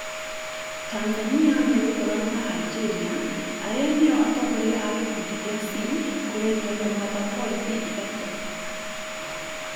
Tanzania megũkorana na Aljĩria, arĩa nĩo atongoria a gĩkundi gĩa C kũgeria kũmatha pointi ithatũ.